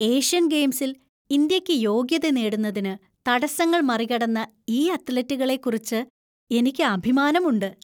Asian ഗെയിംസിൽ ഇന്ത്യയ്ക്ക് യോഗ്യത നേടുന്നതിന് തടസ്സങ്ങൾ മറികടന്ന ഈ അത്ലറ്റുകളെക്കുറിച്ച് എനിക്ക് അഭിമാനമുണ്ട്.